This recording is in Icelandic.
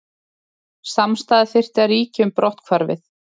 Samstaða þyrfti að ríkja um brotthvarfið